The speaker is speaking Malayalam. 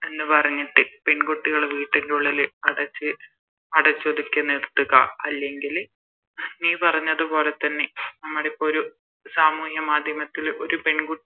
എന്ന്‌ പറഞ്ഞിട്ട് പെൺകുട്ടികള് വീട്ടിന്റെഉള്ളില് അടച്ച് അടചൊതുക്കി നിർത്തുക അല്ലെങ്കില് നീ പറഞ്ഞത് പോലെ തന്നെ നമ്മളിപ്പോ ഒരു സാമൂഹ്യ മാധ്യമത്തില് ഒരു പെൺകുട്ടി